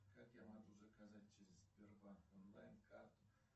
как я могу заказать через сбербанк онлайн карту